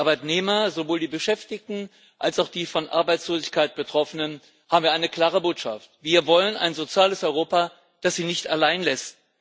Für die Arbeitnehmer sowohl die Beschäftigten als auch die von Arbeitslosigkeit Betroffenen haben wir eine klare Botschaft Wir wollen ein soziales Europa, das sie nicht allein lässt.